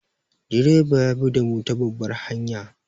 Direba ya bi damu ta babbar hanya.